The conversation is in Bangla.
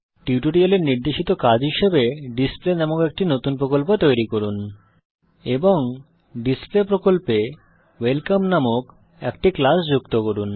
এই টিউটোরিয়ালের নির্দেশিত কাজ হিসাবে ডিসপ্লে নামক একটি নতুন প্রকল্প তৈরি করুন এবং ডিসপ্লে প্রকল্পে ওয়েলকাম নামক একটি ক্লাস যুক্ত করুন